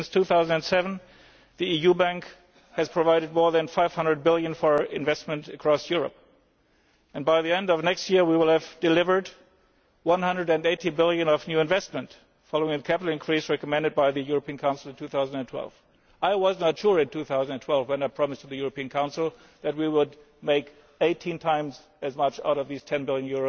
Since 2007, the EU Bank has provided more than EUR 500 billion for investment across Europe, and by the end of next year we will have delivered EUR 180 billion of new investment, following a capital increase recommended by the European Council in 2012. I was not sure in 2012, when I promised to the European Council, that we would make 18 times as much out of these EUR 10 billion,